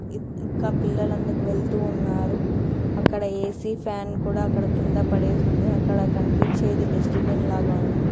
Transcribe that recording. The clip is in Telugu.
ఇంకా పిల్లలు అందుకు వెళ్తూ ఉన్నారు. అక్కడ ఏ_సీ ఫ్యాన్ కుడా అక్కడ కింద పడేసి ఉంది. అక్కడ కనిపించేది డస్ట్ బిన్ లాగా ఉంది.